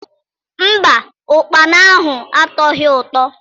Mba, ụkpana ahụ atọghi ụtọ.